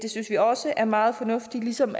synes vi også er meget fornuftigt ligesom